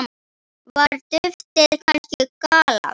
Var duftið kannski gallað?